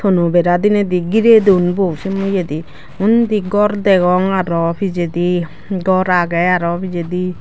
tono bera denade geray don bo say eya de onde gor dagong aro pejadi gor agey aro pejadi.